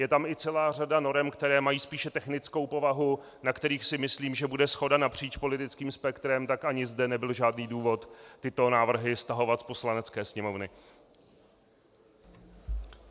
Je tam i celá řada norem, které mají spíše technickou povahu, na kterých si myslím, že bude shoda napříč politickým spektrem, tak ani zde nebyl žádný důvod tyto návrhy stahovat z Poslanecké sněmovny.